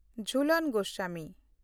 Jhulan Goswami